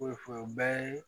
bɛɛ ye